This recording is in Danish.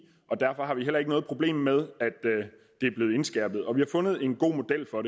og derfor har vi heller ikke noget problem med at det er blevet indskærpet og vi har fundet en god model for